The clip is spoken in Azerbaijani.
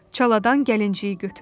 Çaladan gəlinciyi götürdü.